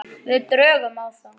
Við drögum á þá.